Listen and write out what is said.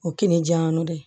O ye kini jiyanko de ye